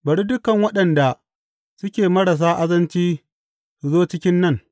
Bari dukan waɗanda suke marasa azanci su zo cikin nan!